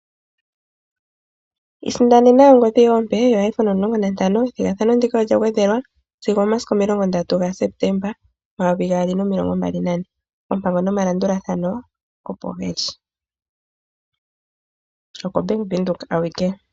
Isindanena ongodhi yoye ompe yoIPhone 15. Ethigathano ndika olya gwedhelwa sigo omomasiku 30 gaSeptemba 2024. Oompango nomalanduthano opo ge li. OkoBank Windhoek awike.